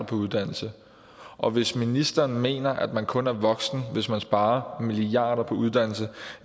på uddannelse og hvis ministeren mener at man kun er voksen hvis man sparer milliarder på uddannelse